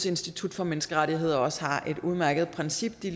institut for menneskerettigheder også har et udmærket princip de